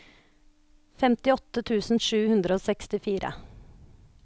femtiåtte tusen sju hundre og sekstifire